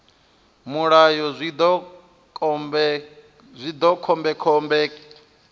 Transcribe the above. mulayo zwi ḓo vha khombekhombe